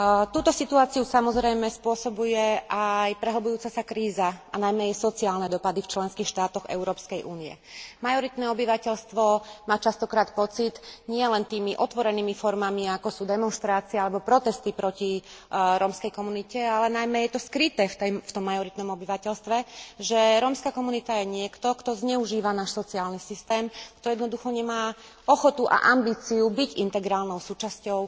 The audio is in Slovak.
Túto situáciu, samozrejme, spôsobuje aj prehlbujúca sa kríza a najmä jej sociálne dopady v členských štátoch Európskej únie. Majoritné obyvateľstvo má často krát pocit nielen tými otvorenými formami, ako sú demonštrácie alebo protesty proti rómskej komunite, ale u majoritného obyvateľstva je to najmä skryté že rómska komunita je niekto, kto zneužíva náš sociálny systém, kto jednoducho nemá ochotu a ambíciu byť integrálnou súčasťou